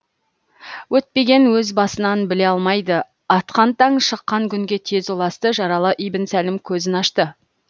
өтпеген өз басынан біле алмайды атқан таң шыққан күнге тез ұласты жаралы ибн сәлім көзін ашты